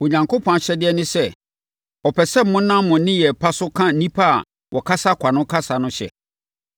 Onyankopɔn ahyɛdeɛ ne sɛ, ɔpɛ sɛ monam mo nneyɛeɛ pa so ka nnipa a wɔkasa kwa no kasa no hyɛ.